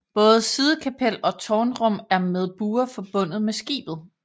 Både sidekapel og tårnrum er med buer forbundet med skibet